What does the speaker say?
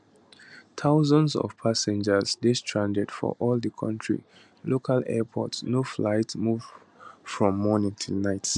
thousands of passengers dey stranded for all di kontri local airports no flight move from morning till night